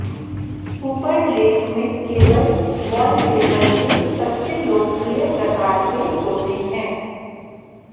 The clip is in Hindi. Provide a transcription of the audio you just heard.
ऊपर लेख में केवल वॉलपेपर के सबसे लोकप्रिय प्रकार के होते हैं